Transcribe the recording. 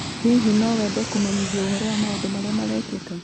Hihi no wende kũmenyithio ũhoro wa maũndũ marĩa marekĩka?